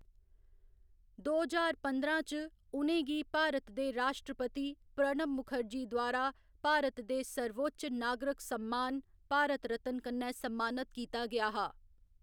दो ज्हार पंदरां च, उ'नें गी भारत दे राश्ट्रपति प्रणब मुखर्जी द्वारा भारत दे सर्वोच्च नागरक सम्मान, भारत रत्न कन्नै सम्मानित कीता गेआ हा।